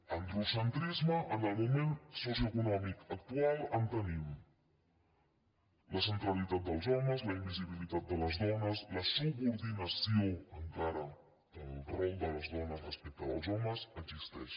d’an·drocentrisme en el moment socioeconòmic actual en tenim la centralitat dels homes la invisibilitat de les dones la subordinació encara del rol de les dones res·pecte del dels homes existeix